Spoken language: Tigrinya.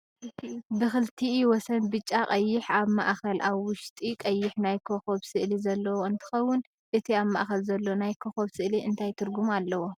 ብክልቲኢ ወሰን ብጫ ፣ቀይሕ ኣብ ማእከል ኣብ ውሽጢ ቀይሕ ናይ ኮኮብ ስእሊ ዘለዎ እንትኸውን እቲ ኣብ ማእኸል ዘሎ ናይ ኮኮብ ስእሊ እንታይ ትርጉም ኣለዎ?